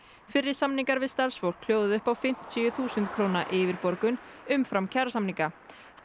fyrri samningar við starfsfólk hljóðuðu upp á fimmtíu þúsund króna yfirborgun umfram kjarasamninga